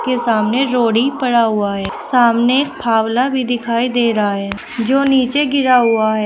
सामने रोड़ी पड़ा हुआ है सामने फावला भी दिखाई दे रहा है जो नीचे गिरा हुआ है।